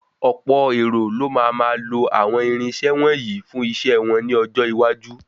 Ọ̀pọ̀ èrò ló máa máa lọ àwọn irinṣẹ́ wọ̀nyí fún iṣẹ́ wọn ní ọjọ́ iwájú.